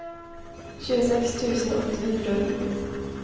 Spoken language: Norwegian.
tjueseks tusen åtte hundre og ni